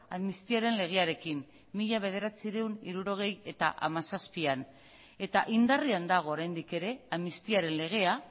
amnistiaren legearekin mila bederatziehun eta hirurogeita hamazazpian eta indarrean dago oraindik ere amnistiaren legea